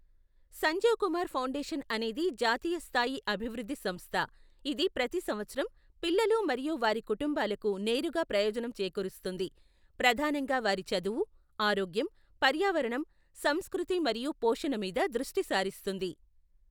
Sanjeev Kumar foundation అనేది జాతీయ స్థాయి అభివృద్ధి సంస్థ, ఇది ప్రతి సంవత్సరం పిల్లలు మరియు వారి కుటుంబాలకు నేరుగా ప్రయోజనం చేకూరుస్తుంది, ప్రధానంగా వారి చదువు, ఆరోగ్యం, పర్యావరణం, సంస్కృతి మరియు పోషణ మీద దృష్టి సారిస్తుంది.